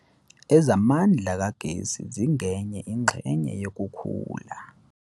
Ezamandla kagesi zingenye ingxenye yokukhula.